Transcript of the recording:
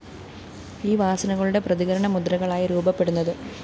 ഈ വാസനകളുടെ പ്രതികരണമുദ്രകളായി രൂപപ്പെടുന്നത്